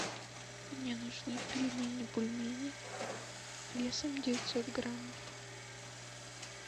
мне нужны пельмени бульмени весом девятьсот граммов